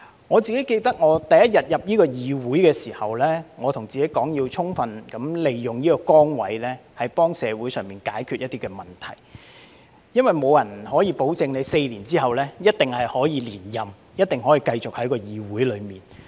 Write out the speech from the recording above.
我記得我第一天進入這個議會時，我告訴自己要充分利用這崗位，幫助社會解決一些問題，因為沒有人能保證我在4年後一定可以連任，一定可以繼續留在議會內。